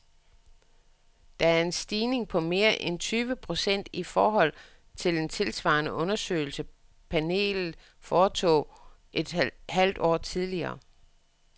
Det er en stigning på mere end tyve procent i forhold til en tilsvarende undersøgelse, panelet foretog et halvt år tidligere.